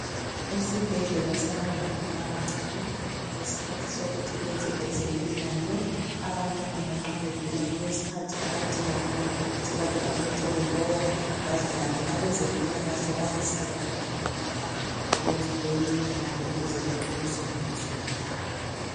Esibhedlela sabantwana abancane ngesikhathi sokuthi benze ezemidlalo abantwana lanxa begula kulesikhathi abadinga khona ukuthi bake babethwe ngumoya badlale abezempilakahle bayasizana labo lapha ukwenza leyi midlalo ukuze baqinise lemizimba yabo